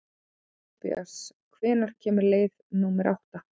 Tobías, hvenær kemur leið númer átta?